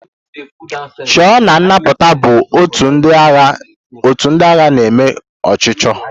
Chọọ na nnapụta bụ ótù ndị agha na-eme ọchụchọ.